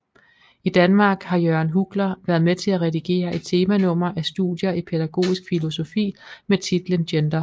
I Danmark har Jørgen Huggler været med til at redigere et temanummer af Studier i Pædagogisk Filosofi med titlen Gender